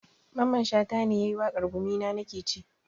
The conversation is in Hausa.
Mamman shata ne yayi waƙar 'gumina nakeci'